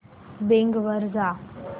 Bing वर जा